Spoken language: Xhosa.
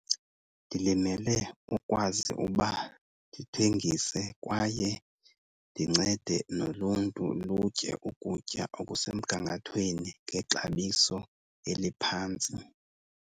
Ndilimele ukwazi ukuba ndithengise kwaye ndincede noluntu lutye ukutya okusemgangathweni ngexabiso eliphantsi.